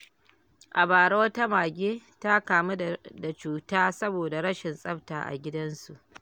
A bara, wata mage ta kamu da cuta saboda rashin tsafta a gidansu.